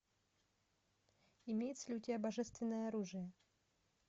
имеется ли у тебя божественное оружие